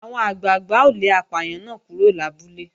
Àwọn àgbàgbà ó lé apàyàn náà kúrò lábúlé